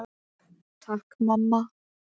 Takk, mamma.